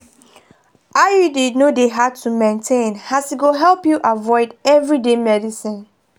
iud no dey hard to maintain as e go help you avoid everyday medicines.